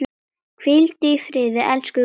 Hvíldu í friði, elsku Guðrún.